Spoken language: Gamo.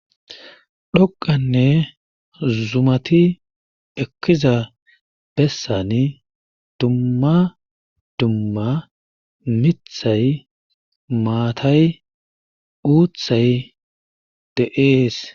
Dhoqqanne zumati ekida besani dumma dumma miththay maatay uuthay de'ees.